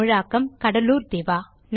தமிழாக்கம் கடலூர் திவா